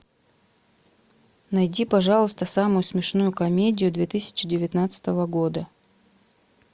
найди пожалуйста самую смешную комедию две тысячи девятнадцатого года